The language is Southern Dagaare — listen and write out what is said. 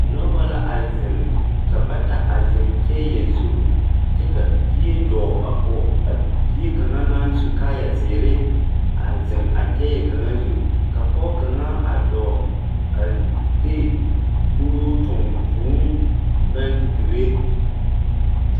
Moba la a zeŋ ka bata a zeŋ kyɛɛyɛ zu kyɛ ka bie dɔɔ a kɔge a bie kaŋa. naŋ su kaayazeere a zeŋ a kyɛɛyɛ kaŋa zu ka pɔge kaŋa a dɔɔ a de kuruu toŋ vūū naŋ dire.